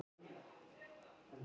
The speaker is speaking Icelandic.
Hann: Betur að svo væri.